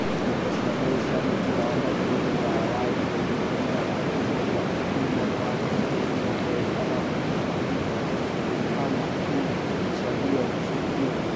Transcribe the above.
Ndeto cia mũhuhu cia mũbira wa magũrũ Rũraya waĩrĩ mweri ikũmi na ithatũ mweri wa ikũmi mwaka wa ngiri igĩrĩ mĩrongo ĩrĩ athaki ta Camavinga, Benrahma, King, Tagliafco, Skriniar